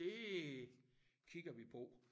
Det kigger vi på